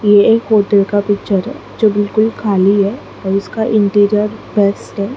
ये एक होटल का पिक्चर जो बिल्कुल खाली है और उसका इंटीरियर बेस्ट है।